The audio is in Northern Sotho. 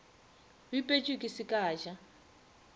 bipetšwe ke se ka ja